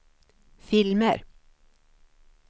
filmer